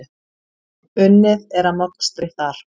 Unnið er að mokstri þar.